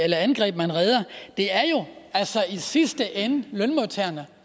eller angreb man redder det er jo altså i sidste ende lønmodtagerne